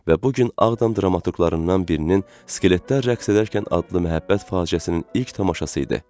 Və bu gün Ağdam dramaturqlarından birinin “Skeletlər rəqs edərkən” adlı məhəbbət faciəsinin ilk tamaşası idi.